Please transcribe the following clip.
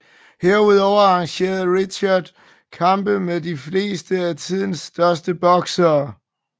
Herudover arrangerede Rickard kampe med de fleste af tidens største boksere